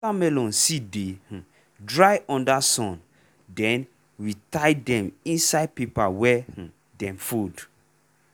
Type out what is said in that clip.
watermelon seed dey um dry under sun then we tie dem inside paper wey um dem fold.